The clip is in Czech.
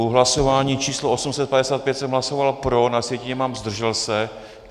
U hlasování číslo 855 jsem hlasoval pro, na sjetině mám zdržel se.